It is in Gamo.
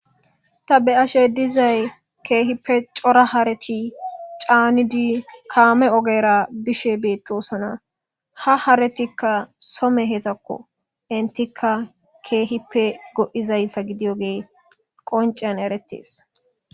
Ta be ashe dizay keehippe cora hareti caanidi kaame ogera bishe beettosona ha haretikka some hetakko intikka keehippe go'izayssa gidiyogee qoncean eretees.